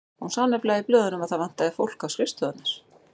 Hún sá nefnilega í blöðunum að það vantaði fólk á skrifstofurnar.